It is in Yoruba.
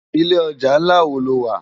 Ilé òjá nlá wó ló wá?